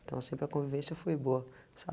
Então sempre a convivência foi boa